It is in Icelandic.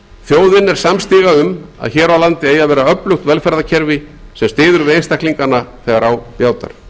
þjóðin er samstiga um að hér á landi eigi að vera öflugt velferðarkerfi sem styður við einstaklingana þegar á bjátar